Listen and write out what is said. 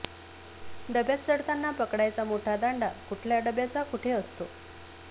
डब्यात चढताना पकडायचा मोठा दांडा कुठल्या डब्याचा कुठे असतो